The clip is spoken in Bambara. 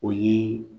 O ye